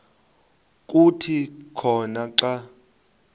kuthi khona xa